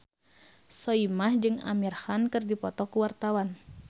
Soimah jeung Amir Khan keur dipoto ku wartawan